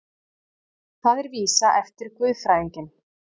Það er vísa eftir guðfræðinginn